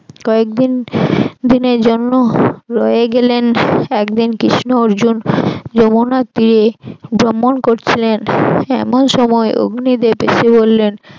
কয়েকদিন দিনের জন্য রয়ে গেলেন একদিন কৃষ্ণ অর্জুন যমুনার তীরে ভ্রমণ করছিলেন এমন সময় অগ্নি দেব এসে বললেন